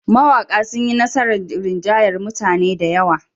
Mawaƙa sun yi nasarar rinjayar mutane da yawa.